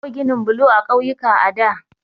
Babu ginin blo a ƙauyuka a da.